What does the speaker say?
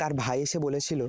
তার ভাই এসে বলেছিল